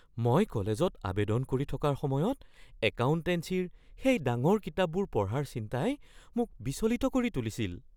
মই কলেজত আৱেদন কৰি থকাৰ সময়ত একাউণ্টেঞ্চিৰ সেই ডাঙৰ কিতাপবোৰ পঢ়াৰ চিন্তাই মোক বিচলিত কৰি তুলিছিল।